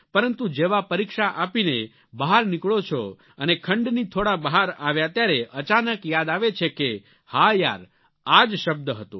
પરંતુ જેવા પરીક્ષા આપીને બહાર નીકળો છો અને ખંડની થોડા બહાર આવ્યા ત્યારે અચાનક યાદ આવે છે કે હા યાર આ જ શબ્દ હતો